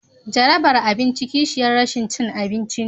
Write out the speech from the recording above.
Jarabar abinci kishiyar rashin cin abinci ne.